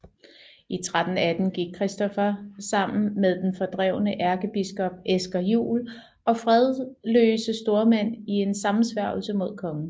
I 1318 gik Christoffer sammen med den fordrevne ærkebiskop Esger Juul og fredløse stormænd i en sammensværgelse mod kongen